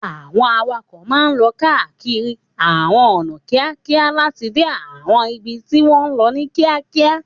Àwọn awakọ̀ máa ń lọ káàkiri àwọn ọ̀nà kíákíá láti dé àwọn ibi tí wọ́n ń lọ ní kíákíá.